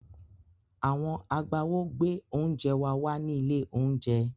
Àwọn agbáwo gbé oúnjẹ wa wá ní ilé-oúnjẹ.